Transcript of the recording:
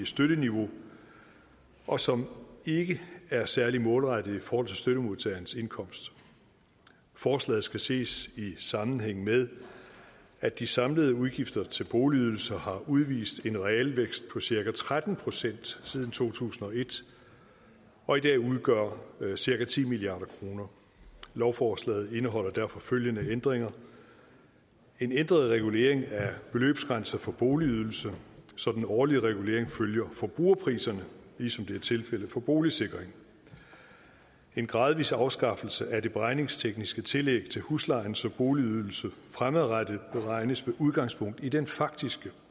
støtteniveau og som ikke er særlig målrettede i forhold til støttemodtagerens indkomst forslaget skal ses i sammenhæng med at de samlede udgifter til boligydelse har udvist en realvækst på cirka tretten procent siden to tusind og et og i dag udgør cirka ti milliard kroner lovforslaget indeholder derfor følgende ændringer en ændret regulering af beløbsgrænser for boligydelse så den årlige regulering følger forbrugerpriserne ligesom det er tilfældet for boligsikring en gradvis afskaffelse af det beregningstekniske tillæg til huslejen så boligydelse fremadrettet beregnes med udgangspunkt i den faktiske